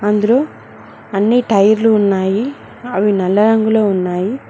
అందరూ అన్ని టైర్లు ఉన్నాయి అవి నల్ల రంగులో ఉన్నాయి.